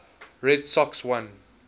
red sox won